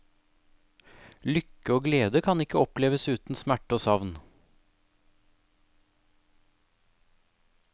Lykke og glede kan ikke oppleves uten smerte og savn.